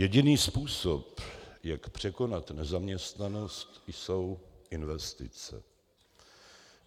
Jediný způsob, jak překonat nezaměstnanost, jsou investice.